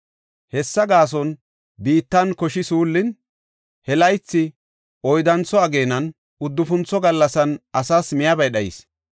Hessa gaason biittan koshi suullin, he laythi oyddantho ageenan, uddufuntho gallasan asas miyabay dhayis.